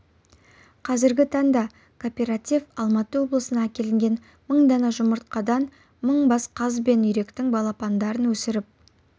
қазіргі таңда кооператив алматы облысынан әкелінген мың дана жұмыртқадан мың бас қаз бен үйректің балапандарын өсіріп